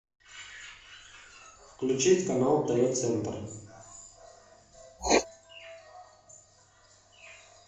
включить канал тв центр